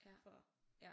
Ja ja